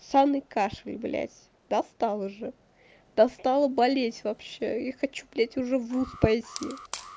ссаной кашей блять достал уже достала болеть вообще я хочу блять уже в вуз пойти